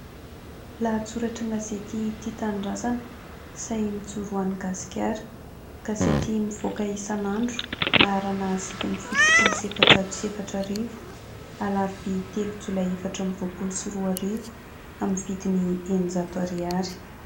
Lahatsoratra an-gazety Tia Tanindrazana, sahy mijoro ho an'i Gasikara. Gazety mivoaka isan'andro laharana sivy amby fitopolo sy efajato sy efatra arivo, Alarobia telo Jolay efatra amby roapolo sy roa arivo amin'ny vidiny eninjato ariary.